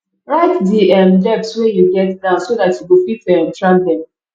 write di um debts wey you get down so dat you go fit um track dem